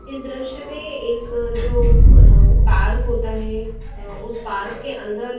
इस दृश्य में एक जो पअअअ पार्क होता है अ उस पार्क के अंदर --